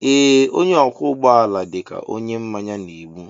Ee onye ọkwọ ụgbọ ala dịka onye mmanya na-egbu.